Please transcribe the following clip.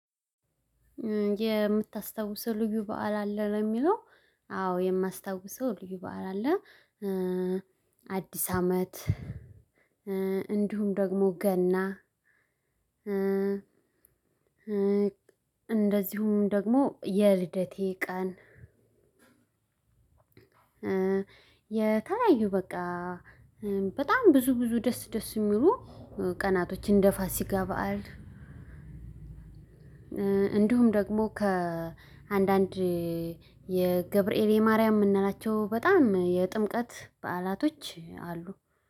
የምታስታውሰው ልዩ በዓል አለ ነው የሚለው? አዎ የማስታውሰው ልዩ በዓል አለ። አዲስ አመት እንዲሁም ደግሞ ገና። እንደዚሁም ደግሞ የልደቴ ቀን። የተለያዩ በቃ በጣም ብዙ ብዙ ደስ ደስ የሚሉ ቀናቶችን እንደ ፋሲካ በዓል። እንዲሁም ደግሞ ከአንዳንድ የገብርኤል የማርያም የምንላቸው በጣም የጥምቀት በዓላቶች አሉ።